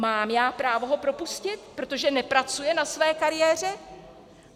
Mám já právo ho propustit, protože nepracuje na své kariéře?